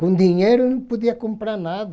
Com dinheiro não podia comprar nada.